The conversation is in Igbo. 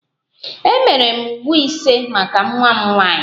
Emere m uwe ise maka nwa m nwanyị